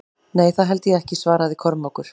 Nei, það held ég ekki, svaraði Kormákur.